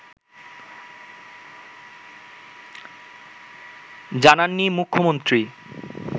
জানাননি মুখ্যমন্ত্রী